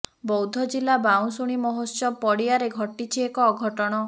ବୌଦ୍ଧ ଜିଲ୍ଲା ବାଉଁଶୁଣୀ ମହୋତ୍ସବ ପଡିଆରେ ଘଟିଛି ଏକ ଅଘଟଣ